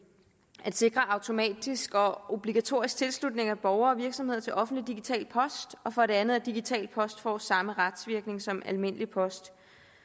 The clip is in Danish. der sikres automatisk og obligatorisk tilslutning af borgere og virksomheder til offentlig digital post og for det andet at digital post får samme retsvirkning som almindelig post